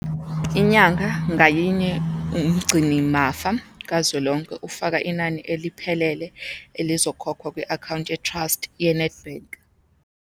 Inyanga ngayinye, uMgcinimafa Kazwelonke ufaka inani eliphelele elizokhokhwa kwi-akhawunti ye-trust yeNedbank.